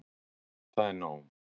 Það er nóg.